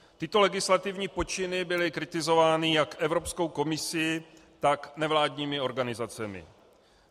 Tyto legislativní počiny byly kritizovány jak Evropskou komisí, tak nevládními organizacemi.